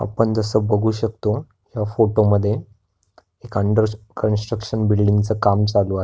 आपण जस बघू शकतो ह्या फोटो मध्ये एक अन्डर कन्स्ट्रकशन बिल्डिंग च काम चालू आहे.